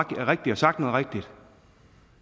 rigtigt og sagt noget rigtigt